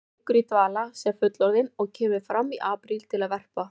Hann liggur í dvala sem fullorðinn og kemur fram í apríl til að verpa.